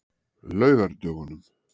laugardögunum